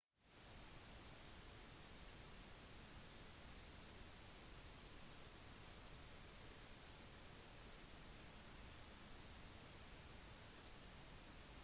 i utviklede land kan man sjelden høre klager på kvaliteten på vann eller om broer som faller ned